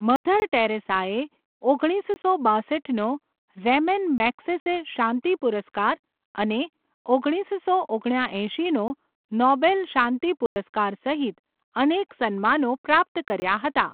Mother ટેરેસાએ ઓગણીસો બાસઠનો રેમન મેગ્સેસે શાંતિ પુરસ્કાર અને ઓગણીસસો ઓગણ્યા એંશીનો નોબેલ શાંતિ પુરસ્કાર સહિત અનેક સન્માનો પ્રાપ્ત કર્યા હતા.